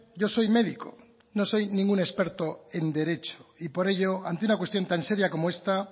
yo soy médico no soy ningún experto en derecho y por ello ante una cuestión tan seria como esta